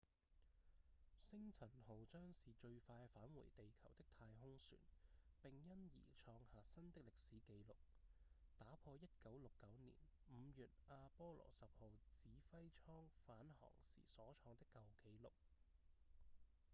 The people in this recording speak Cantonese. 星塵號將是最快返回地球的太空船並因而創下新的歷史紀錄打破1969年5月阿波羅10號指揮艙返航時所創的舊紀錄